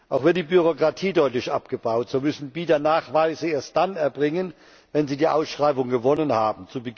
Auch wird die Bürokratie deutlich abgebaut So müssen Bieter Nachweise erst dann erbringen, wenn sie die Ausschreibung gewonnen haben.